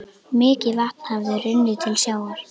Mikið vatn hafði runnið til sjávar.